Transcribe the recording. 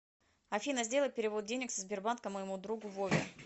афина сделай перевод денег со сбербанка моему другу вове